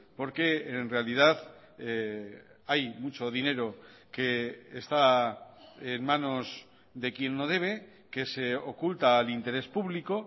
porque en realidad hay mucho dinero que está en manos de quien no debe que se oculta al interés público